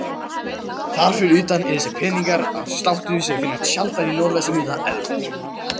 Þar fyrir utan eru þessir peningar af sláttum sem finnast sjaldan í norðvesturhluta Evrópu.